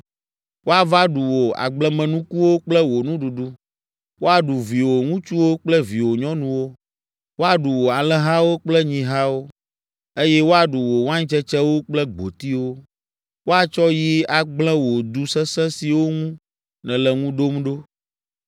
Woava ɖu wò agblemenukuwo kple wò nuɖuɖu, woaɖu viwò ŋutsuwo kple viwò nyɔnuwo. Woaɖu wò alẽhawo kple nyihawo, eye woaɖu wò waintsetsewo kple gbotiwo. Woatsɔ yi agblẽ wò du sesẽ siwo ŋu nèle ŋu ɖom ɖo.”